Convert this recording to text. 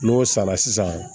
N'o sara sisan